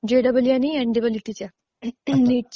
जे double E आणि N I I T च्या